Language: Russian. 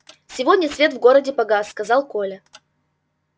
сегодня свет в городе погас сказал коля